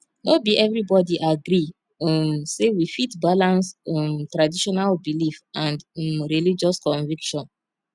no be everybody agree um sey we fit balance um traditional belief and um religious conviction